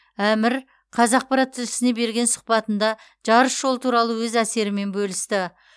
әмір қазақпарат тілшісіне берген сұхбатында жарыс жолы туралы өз әсерімен бөлісті